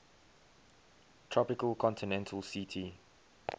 tropical continental ct